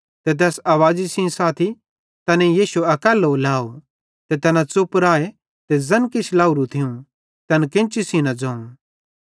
ते तैस आवाज़ी सेइं साथी तैनेईं यीशु अकैल्लो लाव ते तैना च़ुप राए ते ज़ैन किछ लाहेरू थियूं तैन केन्ची सेइं न ज़ोवं